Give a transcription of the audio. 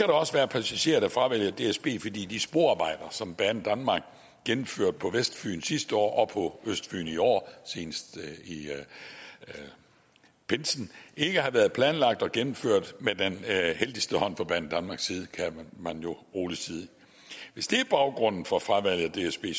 også være passagerer der fravælger dsb fordi de sporarbejder som banedanmark gennemførte på vestfyn sidste år og på østfyn i år senest i pinsen ikke har været planlagt og gennemført med den heldigste hånd fra banedanmarks side kan man rolig sige og hvis det er baggrunden for fravalget af dsb